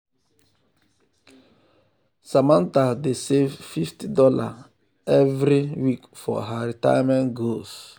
samantha dey save fifty dollarsevery fifty dollarsevery week for her retirement goals.